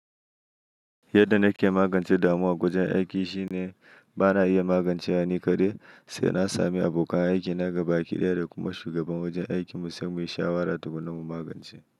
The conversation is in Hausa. Yadda na ke magance damuwa a wajen aiki shine bana iya magance ta ni kaɗai, sai na sami abokan aiki na gaba a kiɗaya da kuma shugaban wajen aiki mu sai muyi shawara tukunna mu magance.